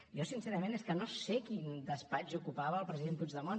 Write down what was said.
jo sincerament és que no sé quin despatx ocupava el president puigdemont